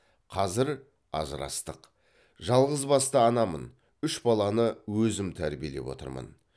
қазір ажырастық жалғызбасты анамын үш баланы өзім тәрбиелеп отырмын